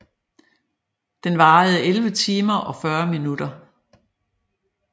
Den varede 11 timer og 40 minutter